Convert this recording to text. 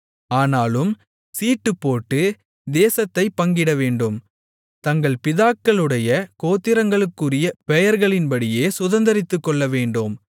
ஆனாலும் சீட்டுப்போட்டு தேசத்தைப் பங்கிடவேண்டும் தங்கள் பிதாக்களுடைய கோத்திரங்களுக்குரிய பெயர்களின்படியே சுதந்தரித்துக்கொள்ளவேண்டும்